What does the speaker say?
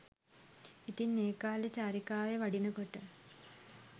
ඉතින් ඒ කාලේ චාරිකාවේ වඩිනකොට